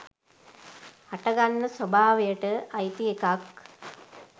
හටගන්න ස්වභාවයට අයිති එකක්.